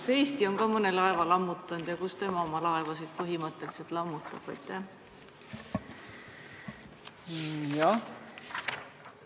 Kas Eesti on ka mõne laeva lammutanud ja kus meie põhimõtteliselt oma laevasid lammutame?